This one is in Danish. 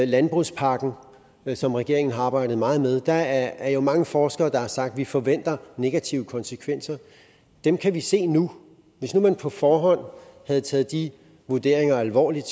landbrugspakken som regeringen har arbejdet meget med er der jo mange forskere der har sagt vi forventer negative konsekvenser dem kan vi se nu hvis nu man på forhånd havde taget de vurderinger alvorligt